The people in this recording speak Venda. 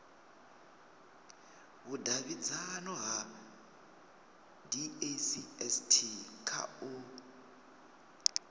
vhudavhidzano ha dacst kha u